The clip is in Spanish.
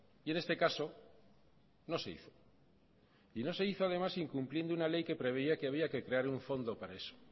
y en este caso no se hizo y no se hizo además incumpliendo una ley que preveía que había que crear un fondo para eso